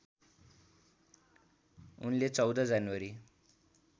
उनले १४ जनवरी